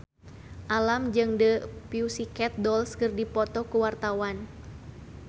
Alam jeung The Pussycat Dolls keur dipoto ku wartawan